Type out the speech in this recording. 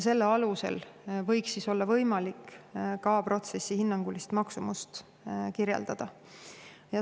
Selle alusel võiks olla võimalik ka protsessi hinnangulist maksumust kirjeldada.